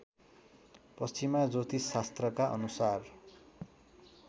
पश्चिमा ज्योतिषशास्त्रका अनुसार